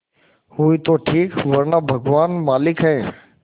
हुई तो ठीक वरना भगवान मालिक है